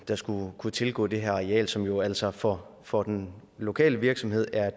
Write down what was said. der skulle kunne tilgå det her areal som jo altså for for den lokale virksomhed er